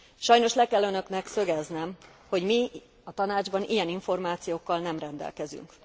Sajnos le kell önöknek szögeznem, hogy mi a Tanácsban ilyen információkkal nem rendelkezünk.